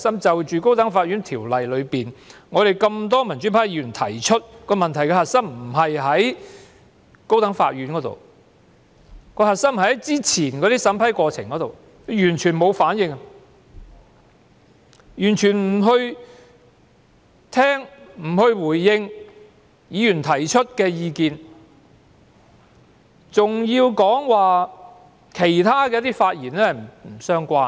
就《高等法院條例》的修訂，我們多位民主派議員提出，問題的核心不在於高等法院，而是之前的審批過程，但司長完全沒有反應，既沒有聆聽、回應議員提出的意見，更指我其他的發言不相關。